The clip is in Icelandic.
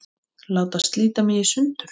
Láta slíta mig í sundur.